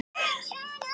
Á fyrri tímum.